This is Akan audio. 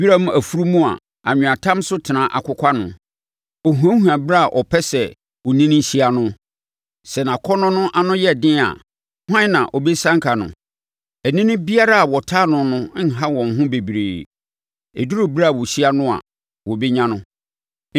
wiram afunumu a anweatam so tena akokwa no, ɔhuahua ɛberɛ a ɔpɛ sɛ onini hyia no. Sɛ nʼakɔnnɔ no ano yɛ den a hwan na ɔbɛsianka no? Anini biara a wɔtaa no no nha wɔn ho bebree; ɛduru ɛberɛ a wɔhyia no a, wɔbɛnya no.